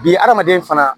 Bi hadamaden fana